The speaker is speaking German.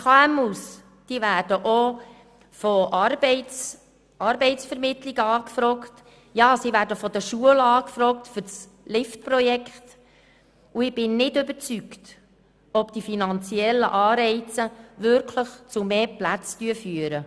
Aber die KMU werden auch von Arbeitsvermittlungen angefragt, ja, sie werden von den Schulen für das Jugendprojekt Lift angefragt, und ich bin nicht überzeugt, dass die finanziellen Anreize tatsächlich zu mehr Plätzen führen.